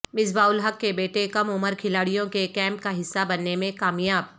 مصباح الحق کے بیٹے کم عمر کھلاڑیوں کے کیمپ کا حصہ بننے میں کامیاب